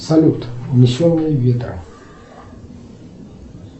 салют унесенные ветром